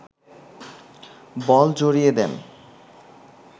বল জড়িয়ে দেন